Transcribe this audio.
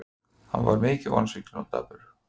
Hann er mjög vonsvikinn og dapur.